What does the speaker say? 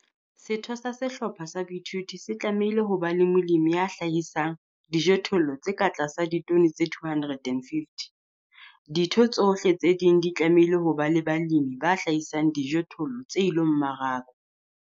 Setho sa sehlopha sa boithuto se tlamehile ho ba molemi ya hlahisang dijothollo tse ka tlasa ditone tse 250. Ditho tsohle tse ding di tlamehile ho ba le balemi ba hlahisang dijothollo tse ilo mmarakwa.